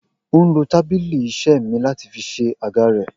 O n lo tabili ise mi lati fi se aga re